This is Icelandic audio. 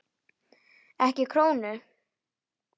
Ekki krónu!